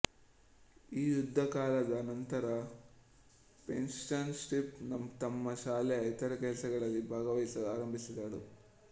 ಈ ಯುದ್ಧಕಾಲದ ನಂತರ ಫೆಯಿನ್ಸ್ಟಯಿನ್ ತಮ್ಮ ಶಾಲೆಯ ಇತರ ಕೆಲಸಗಳಲ್ಲಿ ಭಾಗವಹಿಸಲು ಆರಂಭಿಸಿದರು